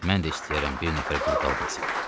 Mən də istəyərəm bir nəfər qul qalmasın.